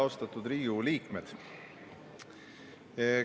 Austatud Riigikogu liikmed!